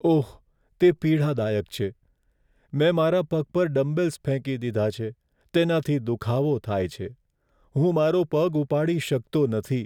ઓહ! તે પીડાદાયક છે. મેં મારા પગ પર ડમ્બેલ્સ ફેંકી દીધા છે, તેનાથી દુખાવો થાય છે. હું મારો પગ ઉપાડી શકતો નથી.